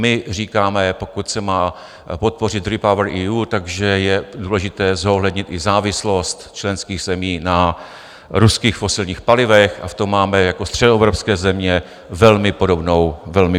My říkáme, pokud se má podpořit REPowerEU, tak že je důležité zohlednit i závislost členských zemí na ruských fosilních palivech, a v tom máme jako středoevropské země velmi podobnou pozici.